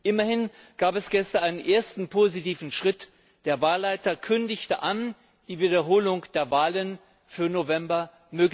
Immerhin gab es gestern einen ersten positiven Schritt Der Wahlleiter kündigte die Wiederholung der Wahlen für November an.